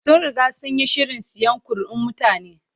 Sun riga sun yi shirin siyan kuri'un mutane.